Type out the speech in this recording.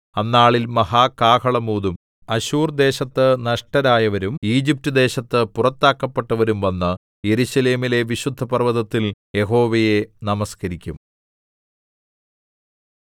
അന്നാളിൽ മഹാകാഹളം ഊതും അശ്ശൂർ ദേശത്തു നഷ്ടരായവരും ഈജിപ്റ്റുദേശത്തു പുറത്താക്കപ്പെട്ടവരും വന്നു യെരൂശലേമിലെ വിശുദ്ധപർവ്വതത്തിൽ യഹോവയെ നമസ്കരിക്കും